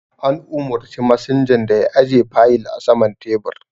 An umurci masinjan da ya aje fayil a saman tebur